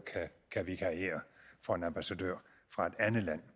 kan vikariere for en ambassadør fra et andet land